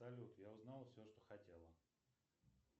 салют я узнала все что хотела